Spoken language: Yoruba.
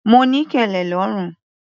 Mo ní kẹlẹ lọ́rùn.